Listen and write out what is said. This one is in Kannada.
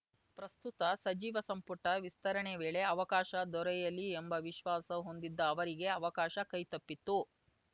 ಪ್ರಸ್ತುತ ಸಚಿವ ಸಂಪುಟ ವಿಸ್ತರಣೆ ವೇಳೆ ಅವಕಾಶ ದೊರೆಯಲಿ ಎಂಬ ವಿಶ್ವಾಸ ಹೊಂದಿದ್ದ ಅವರಿಗೆ ಅವಕಾಶ ಕೈತಪ್ಪಿತ್ತು